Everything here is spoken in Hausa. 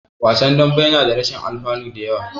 Wasan dambe yana da rashin alfanu da yawa.